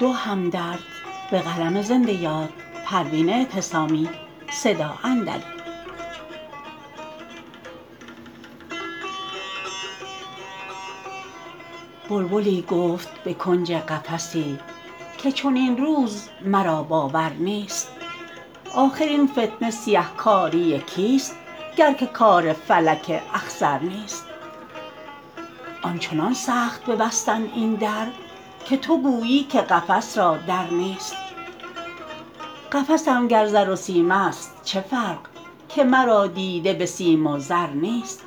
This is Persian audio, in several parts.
بلبلی گفت به کنج قفسی که چنین روز مرا باور نیست آخر این فتنه سیه کاری کیست گر که کار فلک اخضر نیست آنچنان سخت ببستند این در که تو گویی که قفس را در نیست قفسم گر زر و سیم است چه فرق که مرا دیده بسیم و زر نیست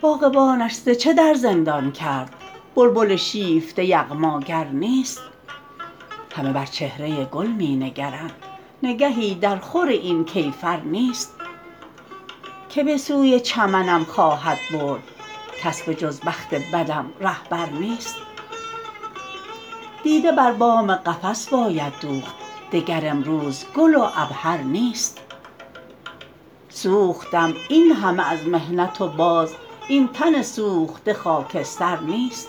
باغبانش ز چه در زندان کرد بلبل شیفته یغماگر نیست همه بر چهره گل می نگرند نگهی در خور این کیفر نیست که بسوی چمنم خواهد برد کس به جز بخت بدم رهبر نیست دیده بر بام قفس باید دوخت دگر امروز گل و عبهر نیست سوختم اینهمه از محنت و باز این تن سوخته خاکستر نیست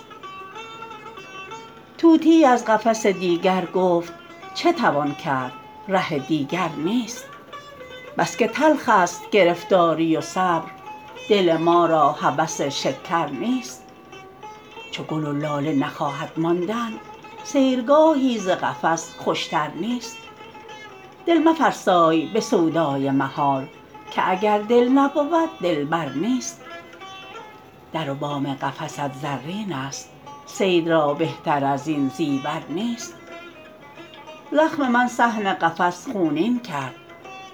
طوطیی از قفس دیگر گفت چه توان کرد ره دیگر نیست بس که تلخ است گرفتاری و صبر دل ما را هوس شکر نیست چو گل و لاله نخواهد ماندن سیرگاهی ز قفس خوشتر نیست دل مفرسای بسودای محال که اگر دل نبود دلبر نیست در و بام قفست زرین است صید را بهتر ازین زیور نیست زخم من صحن قفس خونین کرد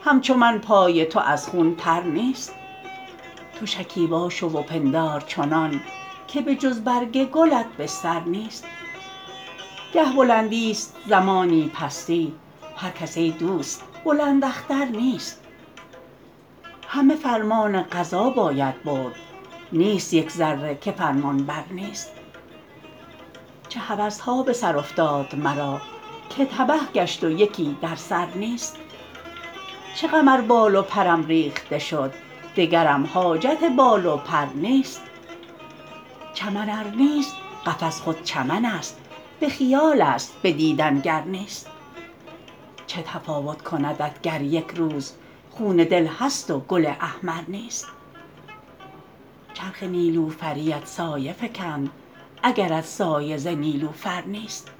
همچو من پای تو از خون تر نیست تو شکیبا شو و پندار چنان که به جز برگ گلت بستر نیست گه بلندی است زمانی پستی هر کس ای دوست بلند اختر نیست همه فرمان قضا باید برد نیست یک ذره که فرمانبر نیست چه هوسها بسر افتاد مرا که تبه گشت و یکی در سر نیست چه غم ار بال و پرم ریخته شد دگرم حاجت بال و پر نیست چمن ار نیست قفس خود چمن است به خیال است بدیدن گر نیست چه تفاوت کندت گر یکروز خون دل هست و گل احمر نیست چرخ نیلوفریت سایه فکند اگرت سایه ز نیلوفر نیست